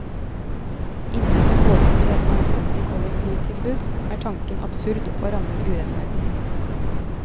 Inntil det foreligger et anstendig kollektivtilbud, er tanken absurd og rammer urettferdig.